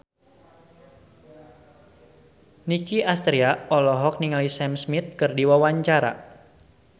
Nicky Astria olohok ningali Sam Smith keur diwawancara